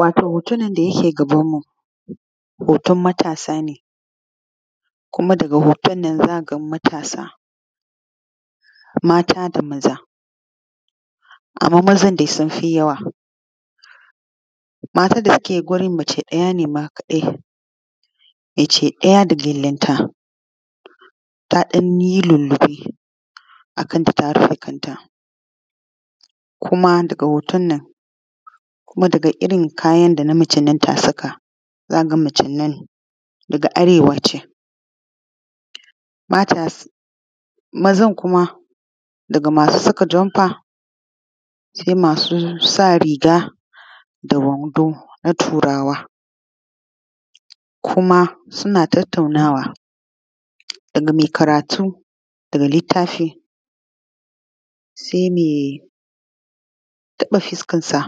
Wato hotonnan da yake gabanmu hoton matasa ne kuma daga hoton za ka ga matasa mata da maza anma mazan sun fi yawa matan da suke wajen mace ɗaya ne ma kaɗai, mace ɗaya da gyalenta ta ɗan yi lulluɓe a kanta, ta rufe kanta kuma daga hoton nan daga kalan kayan da na macennan ta sa ka ga macen nan daga arewa take. Mazan kuma daga masu saka janfa se masu sa riga da wando na Turawa kuma suna tattaunawa daga me karatu daga littafi se me taɓa fiskansa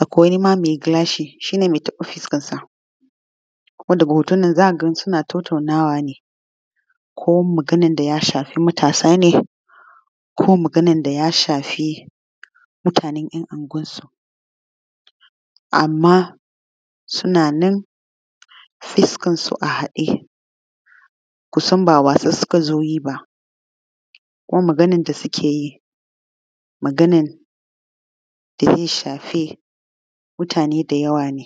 akwai ma megilashi shi ne me taɓa fuskansa kuma daga hoton nan za ka ga suna tattaunawa ne ko magannan da ya shafi matasa ne ko maganan da ya shafi mutanen ‘yan anguwansu anma sunannan fuskansu a haɗe kusan ba wasa suka zo yi ba kuma maganan da sukeyi maganan daze shafi mutane da yawa ne.